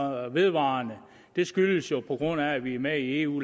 vedvarende det skyldes jo at vi er med i eu